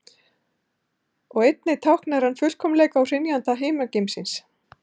Og einnig táknar hann fullkomleika og hrynjandi himingeimsins.